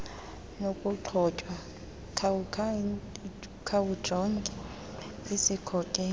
nokugxothwa khawujonge isikhokelo